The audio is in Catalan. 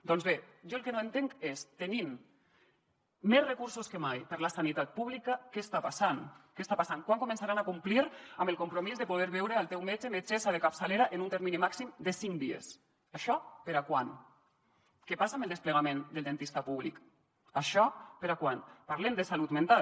doncs bé jo el que no entenc és tenint més recursos que mai per a la sanitat pública què està passant quan començaran a complir amb el compromís de poder veure el teu metge metgessa de capçalera en un termini màxim de cinc dies això per a quan què passa amb el desplegament del dentista públic això per a quan parlem de salut mental